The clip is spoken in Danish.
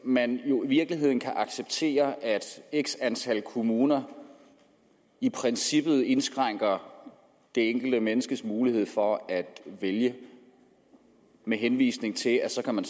man jo i virkeligheden kan acceptere at x antal kommuner i princippet indskrænker det enkelte menneskes mulighed for at vælge med henvisning til at så kan man